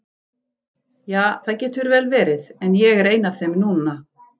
Ja, það getur vel verið, en ég er ein af þeim núna.